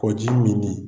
Ko ji min nin